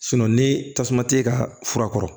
ni tasuma tɛ ka fura kɔrɔ